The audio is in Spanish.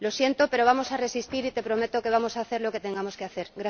Lo siento, pero vamos a resistir y te prometo que vamos a hacer lo que tengamos que hacer.